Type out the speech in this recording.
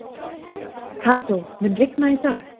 Kató, mun rigna í dag?